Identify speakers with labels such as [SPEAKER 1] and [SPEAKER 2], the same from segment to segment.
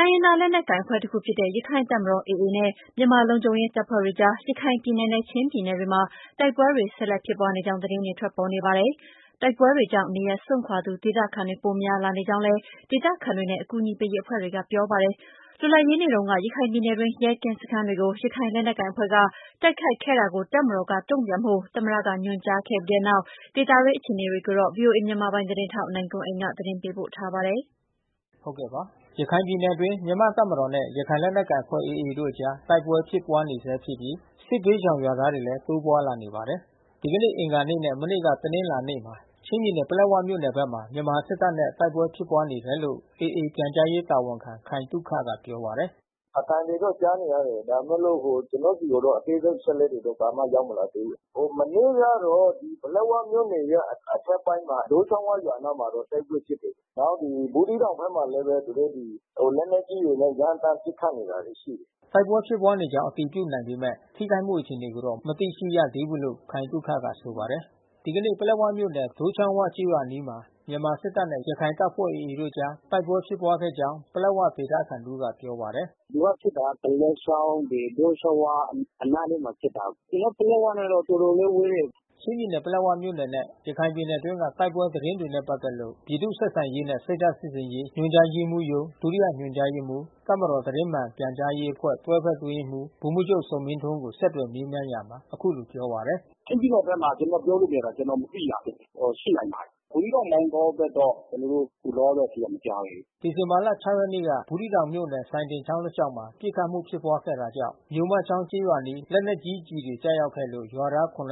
[SPEAKER 1] တိုင်းရင်းသား လက်နက်ကိုင် အဖွဲ့တခုဖြစ်တဲ့ ရခိုင်တပ်မတော် AA နဲ့ မြန်မာလုံခြုံရေး တပ်ဖွဲ့တွေကြား ရခိုင်ပြည်နယ်နဲ့ ချင်းပြည်နယ်တွေမှာ တိုက်ပွဲတွေ ဆက်လက် ဖြစ်ပွားနေကြောင်း သတင်းတွေ ထွက်ပေါ်နေပါတယ်။ တိုက်ပွဲတွေကြောင့် နေရပ်စွန့်ခွာသူ ဒေသခံတွေ ပိုများလာနေကြောင်းလည်း ဒေသခံတွေနဲ့ အကူအညီပေးရေး အဖွဲ့တွေက ပြောပါတယ်။ လွတ်လပ်ရေးနေ့တုန်းက ရခိုင်ပြည်နယ်တွင်း ရဲကင်းစခန်းတွေကို ရခိုင်လက်နက်ကိုင်အဖွဲ့က တိုက်ခိုက်ခဲ့တာကို တပ်မတော်က တုံ့ပြန်ဖို့ သမ္မတက ညွှန်ကြားခဲ့ပြီးနောက် ဒေသတွင်း အခြေအနေတွေကိုတော့ ဗွီအိုအေမြန်မာပိုင်း သတင်းထောက် နိုင်ကွန်းအိန်ကနေ သတင်းပေးပို့ထား ပါတယ်။ ရခိုင်ပြည်နယ်အတွင်း မြန်မာတပ်မတော်နဲ့ ရခိုင်လက်နက်ကိုင်အဖွဲ့AAတို့အကြားတိုက်ပွဲဖြစ်ဖြစ်ပွါးနေဆဲဖြစ်ပြီး စစ်ဘေးရှောင်ရွာသားတွေလဲတိုးပွါးလာနေပါတယ်။ ဒီကနေ့အင်္ဂါနေ့နဲ့ မနေ့ကတနင်္လာနေ့မှာချင်းပြည်နယ်ပလက်ဝမြို့နယ်ဘက်မှာ မြန်မာစစ်တပ်နဲ့တိုက်ပွဲဖြစ်ပွါး နေတယ်လို့ AAပြန်ကြားရေးတာဝန်ခံခိုင်သုခကပြောပါတယ်။
[SPEAKER 2] “အသံတွေတော့ကြားနေရတယ်။ ဒါပေမဲ့လို့ကျွန်တော်ဆီကိုတော့အသေးစိပ်အချက်အလက်တွေတော့ ဘာမှ ရောက်မလာသေးဘူး။ မနေ့ကတော့ ပလက်ဝမြို့နယ်ရဲ့အထက်ပိုင်းမှာ ဒိုးချောင်းဝရွာအနားမှာတော့ တိုက် ပွဲဖြစ်တယ်။ နောက်ဒီ ဘူးသီးတောင်ဖက်မှာလဲ သူတို့ဒီ လက်နက်ကြီးတွေနဲ့ရမ်းသန်းပစ်ခတ်နေတာတွေရှိတယ်
[SPEAKER 1] ။” တိုက်ပွဲဖြစ်ပွါးနေကြောင်းအတည်ပြုနိုင်ပေမဲ့ ထိခိုက်မှုအခြေအနေကိုတော့မသိရှိရသေးဘူးလို့ ခိုင်သုခကဆို ပါတယ်။ ဒီကနေ့ပလက်ဝမြို့နယ် ဒိုးချောင်းဝကျေးရွာအနီးမှာမြန်မာစစ်တပ်နဲ့ရခိုင်တပ်ဖွဲ့AAတို့အကြား တိုက်ပွဲဖြစ်ပွါးခဲ့ ကြောင်း ပလက်ဝဒေသခံတဦးကပြောပါတယ်။
[SPEAKER 2] “သူကဖြစ်တာက ဒလက်ချောင်း ဒိုးချောင်း၀ အနားလေးမှာဖြစ်တ
[SPEAKER 1] ာ။ ကျွန်တော်တို့ပလက်ဝနဲ့တော့ တော်တော် လေးဝေးတယ်။” ချင်းပြည်နယ်ပလက်ဝမြို့နယ်နဲ့ ရခိုင်ပြည်နယ်တွင်းက တိုက်ပွဲသတင်းတွေနဲ့ ပတ်သက်လို့ ပြည်သူ့ဆက်ဆံရေးနဲ့ စိတ်ဓာတ်စစ်ဆင်ရေး ညွှန်ကြားရေးမှူးရုံး ဒုတိယညွှန်ကြားရေးမှူး၊ တပ်မတော်သတင်းမှန်ပြန်ကြားရေးအဖွဲ့ တွဲဘက်အတွင်းရေးမှူး ဗိုလ်မှူးချုပ်ဇော်မင်းထွန်းကို ဆက်သွယ်မေးမြန်းရာမှာ အခုလိုပြောပါတယ်။
[SPEAKER 2] “ချင်းပြည်နယ်ဘက်မှာကျွန်တော်ပြောလို့မရဘူး. ကျွန်တော်မသိရဘူး။ အော် ရှိနိုင်ပါတယ်။ ဘူးသီးတောင် မောင်တောဘက်တော့ ကျွန်တော်တို့ ခုလောလောဆယ်ထိတော့မကြားသေးဘူး
[SPEAKER 1] ။” ဒီဇင်ဘာ ရက်နေ့က ဘူးသီးတောင်မြို့နယ်၊ စိုင်းဒင်ချောင်းတစ်လျှောက်မှာ ပစ်ခတ်မှုဖြစ်ပွါးခဲ့တာကြောင့် မြိုမချောင်းကျေးရွာအနီးလက်နက်ကြီးကျည်တွေကျရောက်ခဲ့လို့ ရွာသား ဦး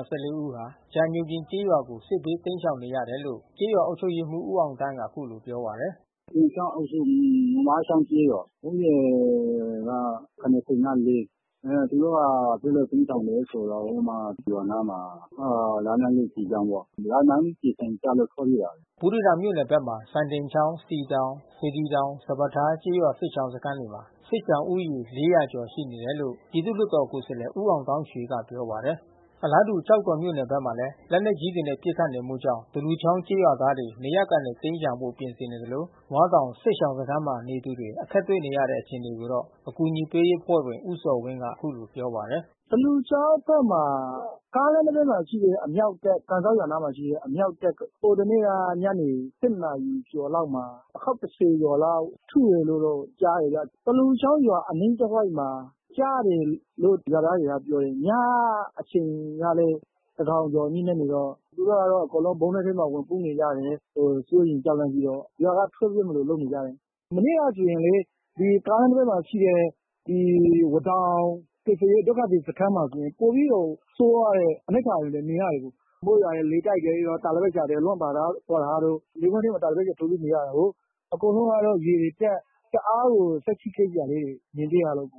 [SPEAKER 1] ဟာကြာညိုပြင်ကျေးရွာကို စစ် ဘေးတိမ်းရှောင်နေရတယ်လို့ ကျေးရွာအုပ်ချုပ်ရေးမှူး ဦးအောင်သန်းကအခုလိုပြောပါတယ်။ “ပြင်ချောင်းအုပ်စုမြို့မချောင်းကျေးရွ
[SPEAKER 2] ာ။ လူဦးရေက ။ သူတို့ကစစ်ဘေးတိမ်းရှောင်တယ်ဆိုတာ ဟိုမှာ ရွာအနားမှာ လက်နက်ကြီးကျည်ကြောင့်ပေါ့။ လက်နက်ကြီးကျည်ဆံကျလို့ထွက်
[SPEAKER 1] ပြေးတာ။” ဘူးသီးတောင်မြို့နယ်ဘက်မှာ စိုင်းဒင်ချောင်း စည်တောင် စေတီတောင် စပါးထားကျေးရွာစစ်ရှောင်စခန်းတွေမှာ စစ်ဘေးရှောင်ဦးရေ ကျော်ရှိနေတယ်လို့ ပြည်သူ့လွှတ်တော်ကိုယ်စားလှယ်ဦးမောင်သောင်းရွှေ ကပြော ပါတယ်။ အလားတူ ကျောက်တော်မြို့နယ်ဘက်မှာလဲ လက်နက်ကြီးတွေနဲ့ပစ်ခတ်နေမှုကြောင့် သလူချောင်းကျေးရွာသား တွေ နေရပ်ကနေတိမ်းရှောင်ဖို့ပြင်ဆင်နေသလို ဝါးတောင်စစ်ရှောင်စခန်းမှာနေသူတွေ အခက်တွေ့နေတဲ့ အခြေ အနေကိုတော့ အကူညီပေးရေးအဖွဲ့ဝင် ဦးဇော်ဝင်းကဆိုပါတယ်။ “သလူချောင်း
[SPEAKER 2] ဘက်မှာ ကန်စောက်ရွာအနီးမှာရှိတဲ့အမြှောက်တပ်က ဟိုတနေ့က ညနေ နာရီကျော်လောက်မှာ အခေါက် ကျော်လောက်ထုတယ်လို့ကြားတယ်ဗျ။ သလူချောင်းရွာအနီးတဝိုက်မှာ ကျတယ်လို့ရွာသားတွေက ပြောတယ်။ ညအချိန်ကလဲ သန်းခေါင်ကျော်ညဉ့်နက်နေတော့ သူတို့ကတော့အကုန်လုံး ဗုံးကျင်းထဲမှာ ဝင်ပုန်းနေ ကြတယ်။ စိုးရိမ်ကြောက်လန့်ပြီးတော့ ရွာကထွက်ပြေးမလို့လုပ်နေကြတယ်။ မနေ့ကဆိုရင်လေ။ ဒီကားလမ်းနံ ဘေးမှာရှိတဲ့ ဒီဝါးတောင် ကယ်ဆယ်ရေးဒုက္ခသည်စခန်းမှာဆိုပိုပြီးတော့ ဆိုးဝါးတဲ့အနိဌာရုံတွေမြင်ရတယ်။ မိုးရွာ တယ် လေတိုက်တယ်။ တာလပတ်တွေလွင့်ပါသွားတာတို့ လယ်ကွင်းထဲမှာ တာလပတ်ထိုးပြီးနေရတာကိုး။ အကုန် လုံးကတော့ရေတွေတက် တအားကိုစိတ်ထိခိုက်စရာလေးတွေမြင်တွေ့ရတယ်။”
[SPEAKER 1] ၂၀၁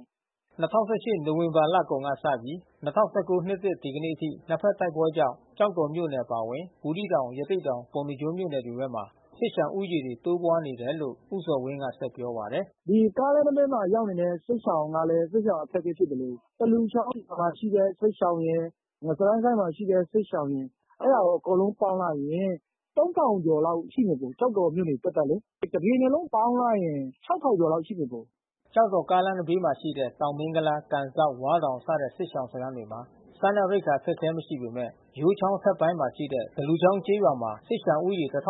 [SPEAKER 1] ၈ နိုဝင်ဘာလကုန်ကစပြီး ၂၀၁၉နှစ်သစ် ဒီကနေ့အထိ နှစ်ဖက်တိုက်ပွဲကြောင့် ကျောက်တော်မြို့နယ် အပါအဝင် ဘူးသီးတောင် ရသေ့တောင် ပုဏ္ဏားကျွန်းမြို့နယ်တွေဘက်မှာ စစ်ရှောင်ဦးရေတိုးလာနေ တယ်လို့ ဦးဇော်ဝင်းကဆက်ပြောပါတယ်။ “ဒီက
[SPEAKER 2] ားလမ်းနံဘေးမှာရောက်နေတဲ့စစ်ရှောင်တွေကလဲ စစ်ရှောင်အခက်ခဲဖြစ်သလို သလူချောင်းမှာရှိတဲ့စစ်ရှောင် ရယ်။ ငစရိုင်းကိုင်းမှာရှိတဲ့စစ်ရှောင်ရယ်။ အဲတာအကုန်လုံးပေါင်းလိုက်ရင် ကျော်လောက်ရှိမယ်။ ကျောက် တော်မြို့နယ်သပ်သပ်လေ။ တပြည်နယ်လုံးပေါင်းလိုက်ရင် ကျော်လောက်ရှိမယ်။”
[SPEAKER 1] ကျောက်တော်ကားလမ်းနံဘေးမှာရှိတဲ့ တောင်မင်းကုလား ကန်စောက် ဝါးတောင်စတဲ့စစ်ရှောင်စခန်းတွေမှာ စားနပ်ရိက္ခာအခက်ခဲမရှိပေမဲ့ ယိုးချောင်းအထက်ပိုင်းမှာရှိတဲ့ သလူချောင်းကျေးရွာမှာစစ်ရှောင်ဦးရေ ခန့်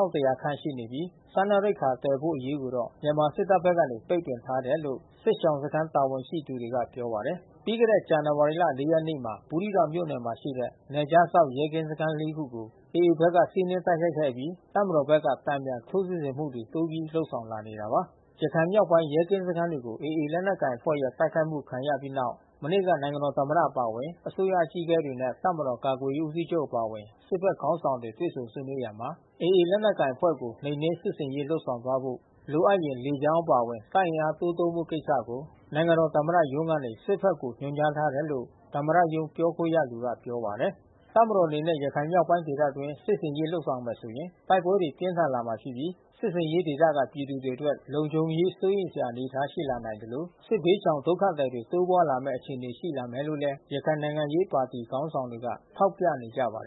[SPEAKER 1] ရှိနေပြီး စားနပ်ရိက္ခာသယ်ဖို့အရေးကိုတော့မြန်မာစစ်တပ်ဖက်ကပိတ်ပင်ထားတယ်လို့ စစ်ရှောင်စခန်းတာဝန် ရှိ သူတွေ ကပြောပါတယ်။ ပြီးခဲ့တဲ့ဇန်ဝါရီလ ရက်နေ့မှာ ဘူးသီးတောင်မြို့နယ်မှာရှိတဲ့နယ်ခြားစောင့်ရဲကင်းစခန်း ခုကို AAဘက်က စီးနင်းတိုက်ခိုက်ခဲ့အပြီး တပ်မတော်ဖက်က တန်ပြန်ထိုးစစ်ဆင်မှုတိုးပြီးလုပ်ဆောင်လာနေတာပါ။ ရခိုင်မြောက်ပိုင်းက ရဲကင်းစခန်းတွေကို AA ရခိုင်လက်နက်ကိုင်အဖွဲ့ရဲ့ တိုက်ခိုက်မှု ခံရပြီးတဲ့နောက်၊ မနေ့က နိုင်ငံတော်သမ္မတအပါအဝင် အစိုးရအကြီးအကဲတွေနဲ့ တပ်မတော်ကာကွယ်ရေးဦးစီးချုပ်အပါအဝင် စစ်ဖက် ခေါင်းဆောင်တွေ တွေ့ဆုံ ဆွေးနွေးရာမှာ AA ရခိုင်လက်နက်ကိုင်အဖွဲ့ကို နှိမ်နင်းစစ်ဆင်ရေးလုပ်ဆောင်သွားဖို့ လိုအပ်ရင် လေကြောင်း အပါအဝင် တပ်အင်အားတိုးသုံးဖို့ကိစ္စကို နိုင်ငံတော်သမ္မတရုံး ကနေ စစ်ဖက်ကို ညွှန် ကြားထားတယ်လို့ သမ္မတရုံးပြောခွင့်ရသူက ပြောပါတယ်။ တပ်မတော်အနေနဲ့ ရခိုင်မြောက်ပိုင်းဒေသအတွင်းစစ်ဆင်ရေးလုပ်ဆောင်မယ်ဆိုရင် တိုက်ပွဲတွေပြင်းထန် လာမှာဖြစ်ပြီး စစ်ဆင်ရေးဒေသကပြည်သူတွေအတွက် လုံခြုံရေးစိုးရိမ်စရာအနေအထားမှာရှိလာနိုင်သလို စစ်ဘေးရှောင်ဒုက္ခသည်တွေတိုးပွါးလာမဲ့အခြေအနေရှိလာမယ်လို့လဲ ရခိုင်နိုင်ငံရေးပါတီခေါင်းဆောင် တွေက ထောက်ပြနေကြပါတယ်